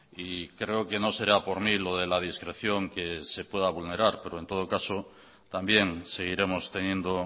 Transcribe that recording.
y creo que no será por mí lo de la discreción que se pueda vulnerar pero en todo caso también seguiremos teniendo